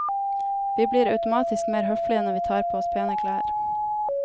Vi blir automatisk mer høflige når vi tar på oss pene klær.